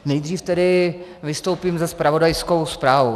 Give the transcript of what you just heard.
Nejdříve tedy vystoupím se zpravodajskou zprávou.